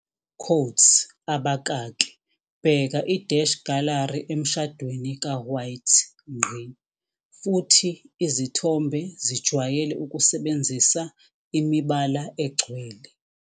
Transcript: Quotes abakaki. Bheka i-gallery emshadweni kaWhite. Futhi izithombe zijwayele ukusebenzisa imibala egcwele.